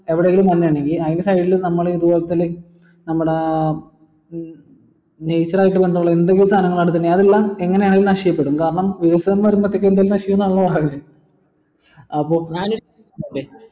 എവിടെങ്കിലും വെള്ളം ഇണ്ടെങ്കിൽ അയിന്റെ side ൽ നമ്മൾ ഇതുപോലത്തെ like നമ്മട ഏർ nature ആയിട്ട് ബന്ധുള്ള എന്തെങ്കിലു സാധനോ എങ്ങനെ ആണെങ്കിലും നശിക്കപ്പെടും കാരണം ആണലോ പറയുന്നേ അപ്പൊ